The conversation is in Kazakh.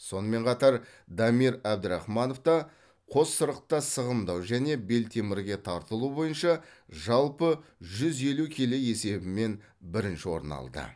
сонымен қатар дамир әбдірахманов та қоссырықта сығымдау және белтемірге тартылу бойынша жалпы жүз елу келі есебімен бірінші орын алды